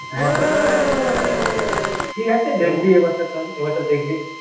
, হ্যা ঠিকআছে দেখবি এবছর তাহলে এবছর দেখবি